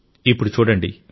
ఇప్పుడు చూడండి